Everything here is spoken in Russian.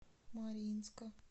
мариинска